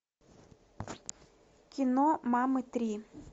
кино мамы три